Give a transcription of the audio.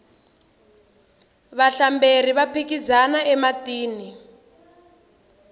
vahlamberi va phikizana ematini